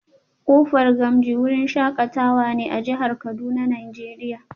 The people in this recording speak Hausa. Kofa gamji wurin shakatawa ne a jihar Kuduna nigeria